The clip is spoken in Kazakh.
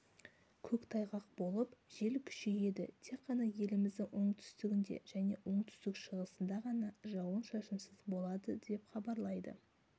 көктайғақ болып жел күшейеді тек қана еліміздің оңтүстігінде және оңтүстік-шығысында ғана жауын-шашынсыз болады деп хабарлайды